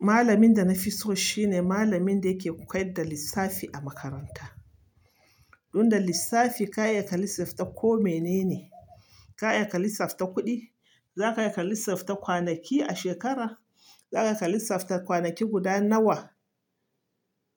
Malamin da na fi so shi ne malamin da yake koyar da lissafi a makaranta. Don da lissafi ka iya ka lissafta ko mene ne. Ka iya ka lissafta kuɗi, za ka iya ka lissafta kwanaki a shekara, za ka iya ka lissafta kwanaki guda nawa